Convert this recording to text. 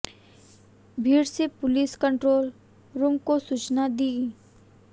भीड़ ने police control room को सूचना दी